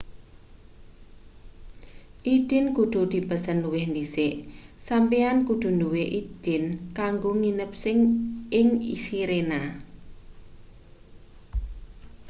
idin kudu dipesen luwih dhisik sampeyan kudu duwe idin kanggo nginep ing sirena